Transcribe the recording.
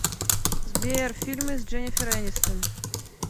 сбер фильмы с дженифер энистон